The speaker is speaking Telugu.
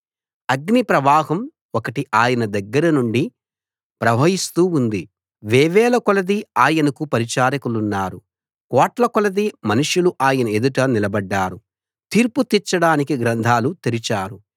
అగ్నిప్రవాహం ఒకటి ఆయన దగ్గర నుండి ప్రవహిస్తూ ఉంది వేవేలకొలది ఆయనకు పరిచారకులున్నారు కోట్లకొలది మనుషులు ఆయన ఎదుట నిలబడ్డారు తీర్పు తీర్చడానికి గ్రంథాలు తెరిచారు